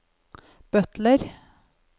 butler